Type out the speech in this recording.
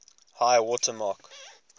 high water mark